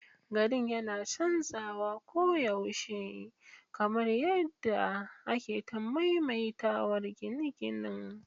Garin yana canzawa koyaushe, kamar yadda ake ta maimaitawar ginin ginin.